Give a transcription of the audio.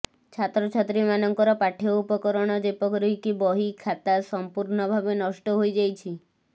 ଛାତ୍ରଛାତ୍ରୀ ମାନଙ୍କର ପାଠ୍ୟ ଉପକରଣ ଯେପରିକି ବହି ଖାତା ସମ୍ପୂର୍ଣ୍ଣ ଭାବେ ନଷ୍ଟ ହୋଇଯାଇଛି